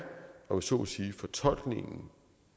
om jeg så må sige fortolkningen